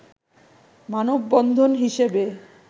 মানববন্ধন হিসেবে